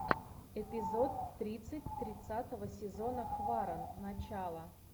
эпизод тридцать тридцатого сезона хваран начало